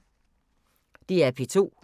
DR P2